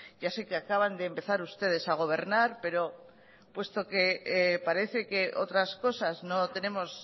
ya sé que acaban de empezar ustedes a gobernar pero puesto que parece que otras cosas no tenemos